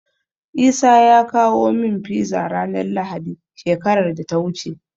Isa ya kawo min Fiza ranar Lahadi, shekarar da ta wuce.